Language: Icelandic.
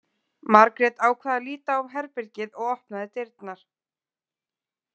Margrét ákvað að líta á herbergið og opnaði dyrnar.